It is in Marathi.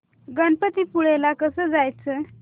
गणपतीपुळे ला कसं जायचं